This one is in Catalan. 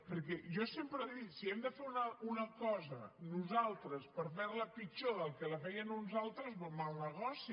perquè jo sempre dic si hem de fer una cosa nosaltres per fer la pitjor del que la feien uns altres mal negoci